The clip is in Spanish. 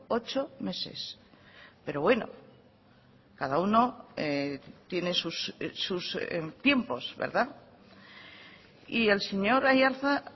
ocho meses pero bueno cada uno tiene sus tiempos verdad y el señor aiartza